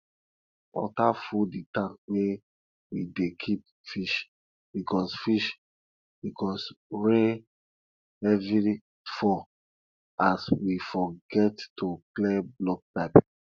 water full the tank wey we dey keep fish because fish because rain heavy fall as we forget to clear block pipe